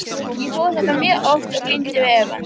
Ég fór þangað mjög oft og glímdi við efann.